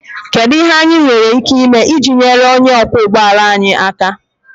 Kedu ihe anyị nwere ike ime iji nyere onye ọkwọ ụgbọ ala anyị aka?